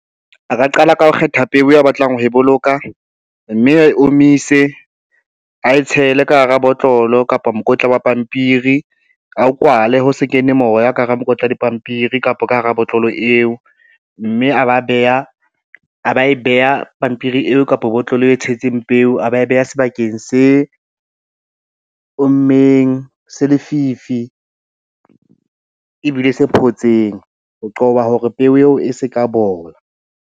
A ka qala ka ho kgetha peo ya batlang ho e boloka, mme a e omise, ae tshele ka hara botlolo kapa mokotla wa pampiri, a o kwale ho se kene moya ka hara mokotla dipampiri kapa ka hara botlolo eo, mme a ba e beha pampiri eo kapa botlolo e tshetseng peo, a ba e beha sebakeng se ommeng, se lefifi, ebile se photseng ho qoba hore peo eo e se ka bola.